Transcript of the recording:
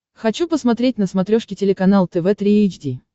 хочу посмотреть на смотрешке телеканал тв три эйч ди